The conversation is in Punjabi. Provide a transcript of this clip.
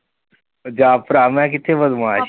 ਉਹ ਜਾ ਭਰਾ ਮੈਂ ਕਿੱਥੇ ਬਦਮਾਸ਼